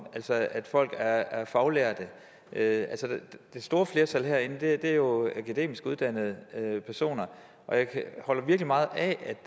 altså at folk er faglærte det det store flertal herinde er jo akademisk uddannede personer og jeg holder virkelig meget af at